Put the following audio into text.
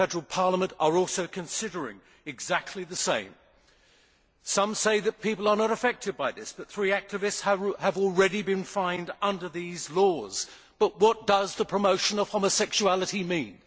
The Federal Parliament is also considering doing exactly the same. Some say that people are not affected by this, but three activists have already been fined under these laws. But what does promotion of homosexuality' mean?